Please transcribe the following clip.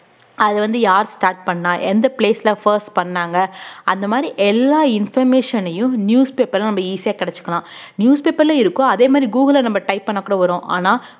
அது வந்து யார் start பண்ணா எந்த place ல first பண்ணாங்க அந்த மாதிரி எல்லா information ஐயும் newspaper ல நம்ம easy யா கிடைச்சுக்கலாம் newspaper லயும் இருக்கும் அதே மாதிரி google ல நம்ம type பண்ணாக்கூட வரும் ஆனா